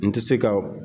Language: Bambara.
N tɛ se ka